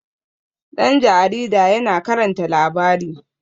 ɗan jaarida yana karanta labari